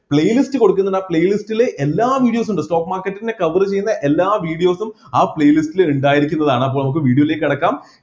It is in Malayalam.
play list കൊടുക്കുന്നുണ്ട് ആ play list ൽ എല്ലാ videos ഉണ്ട് stock market ൻ്റെ cover ചെയ്യുന്ന എല്ലാ videos ഉം ആ play list ൽ ഇണ്ടായിരിക്കുന്നതാണ് അപ്പൊ നമുക്ക് video ലേക് കടക്കാം